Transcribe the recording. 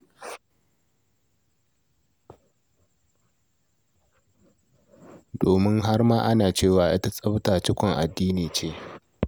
Domin har ma ana cewa, ita tsafta, cikon addini ce.